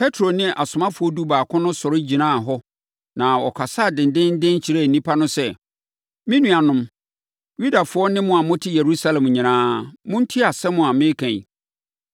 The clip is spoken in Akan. Petro ne asomafoɔ dubaako no sɔre gyinaa hɔ na ɔkasaa dendeenden kyerɛɛ nnipa no sɛ, “Me nuanom Yudafoɔ ne mo a mote Yerusalem nyinaa, montie asɛm a mereka yi.